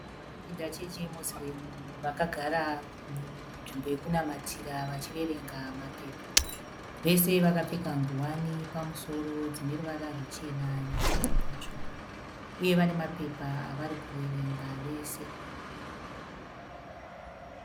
Varume vanopinda chechi yemosuremu vakagara munzvmbo yekunamatira vachiverenga mapepa. Vese vakapfeka nguwani pamusoro dzineruvara ruchena nepamwe patsvuku. Uye vanemapepa avari kuverenga vese.